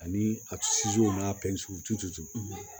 Ani a n'a